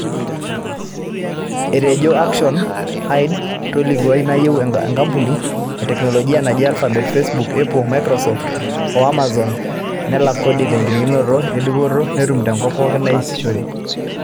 Etejo Action Aid tolkilikuai nayieu nkampunini e teknoloji naaijo Alphabet, Facebook, Apple, Microsoft o Amazon nelak kodi tenkiririkino e dupoto natum tookop pooki naasishore.